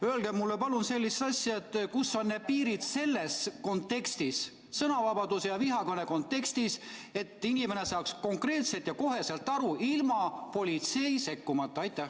Öelge mulle palun sellist asja, kus on need piirid sõnavabaduse ja vihakõne vahel, et inimene saaks sellest ise aru ilma politsei sekkumiseta.